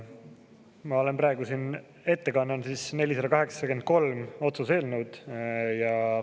Ma olen praegu siin ette kandmas otsuse eelnõu 483.